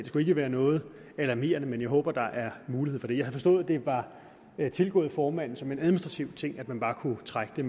skulle ikke være noget alarmerende men jeg håber at der er mulighed for det jeg havde forstået at det var tilgået formanden som en administrativ ting altså at man bare kunne trække det